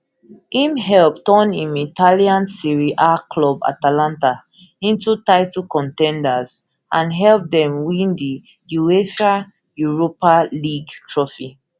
im help turn im italian serie a club club atalanta into title con ten ders and help dem win di uefa europa league trophy